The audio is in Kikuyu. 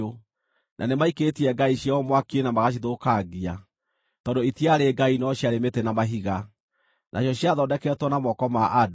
Na nĩmaikĩtie ngai ciao mwaki-inĩ na magacithũkangia, tondũ itiarĩ ngai no ciarĩ mĩtĩ na mahiga, nacio ciathondeketwo na moko ma andũ.